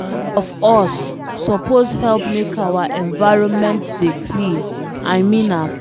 All of us suppose help make our environment dey clean, I mean am